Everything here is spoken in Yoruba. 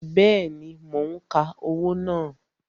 Bẹẹni, mo ń ka owó náà